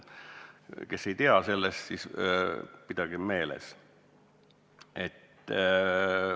Vahest kõik seda ei tea, aga ma palun seda silmas pidada.